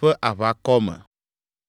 ƒe aʋakɔ me.